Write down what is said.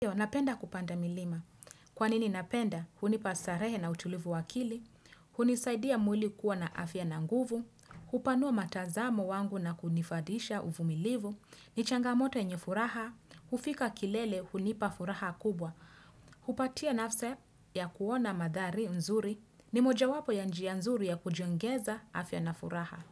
Napenda kupanda milima. Kwa nini napenda, hunipa starehe na utulivu wa akili, hunisaidia mwili kuwa na afya na nguvu, upanua matazamo wangu na kunifadhisha uvumilivu, ni changamoto nye furaha, ufika kilele hunipa furaha kubwa, hupatia nafsi ya kuona mandhari nzuri, ni mojawapo ya njia nzuri ya kujongeza afya na furaha.